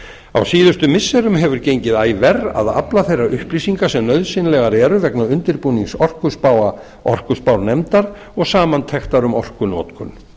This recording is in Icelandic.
á síðustu misserum hefur gengið æ verr að afla þeirra upplýsinga sem nauðsynlegar eru vegna undirbúnings orkuspáa orkuspárnefndar og samantektar um orkunotkun er það